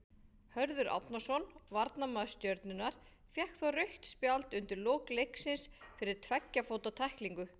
Hörður Árnason, varnarmaður Stjörnunnar, fékk þá rautt spjald undir lok leiksins fyrir tveggja fóta tæklingu.